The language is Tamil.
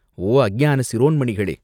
"ஓ அஞ்ஞான சிரோன்மணிகளே!